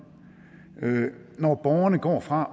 når borgerne går fra